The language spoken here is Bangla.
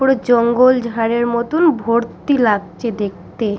পুরো জঙ্গল ঝাড়ের মতোন ভর্তি লাগছে দেখতে।